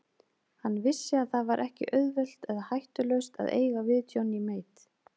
Hann vissi að það var ekki auðvelt eða hættulaust að eiga við Johnny Mate.